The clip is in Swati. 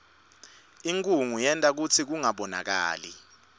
inkhunga yenta kutsi kungabonakali